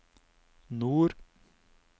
nord